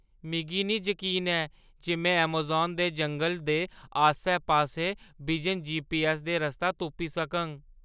मिगी निं जकीन जे में ऐमज़ान दे जंगलै दे आस्सै-पास्सै बिजन जीपीऐस्स दे रस्ता तुप्पी सकङ।